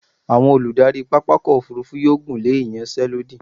Àwọn olùdarí pápákọ̀ òfúrúfú yóò gùnlé ìyanṣẹ́lódì.